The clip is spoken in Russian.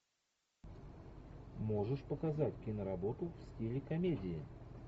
можешь показать киноработу в стиле комедии